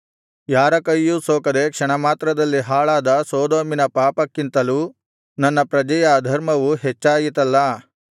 ಯಾರ ಕೈಯೂ ಸೋಕದೆ ಕ್ಷಣಮಾತ್ರದಲ್ಲಿ ಹಾಳಾದ ಸೊದೋಮಿನ ಪಾಪಕ್ಕಿಂತಲೂ ನನ್ನ ಪ್ರಜೆಯ ಅಧರ್ಮವು ಹೆಚ್ಚಾಯಿತಲ್ಲಾ